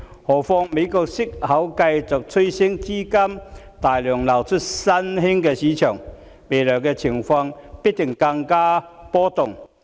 何況，美國息口繼續趨升，資金大量流出新興市場，未來的情況必定更為波動。